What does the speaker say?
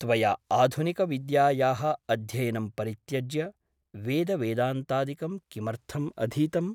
त्वया आधुनिकविद्यायाः अध्ययनं परित्यज्य वेदवेदान्तादिकं किमर्थम् अधीतम् ?